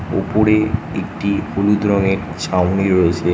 ওপরে একটি হলুদ রঙের ছাউনি রয়েছে।